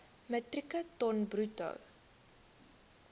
metrieke ton bruto